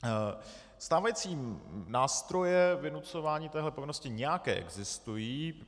Stávající nástroje vynucování téhle povinnosti nějaké existují.